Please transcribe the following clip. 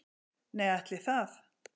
Nei ætli það.